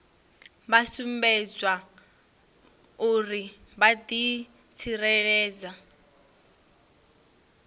vha sumbedzwa uri vha ḓitsireledza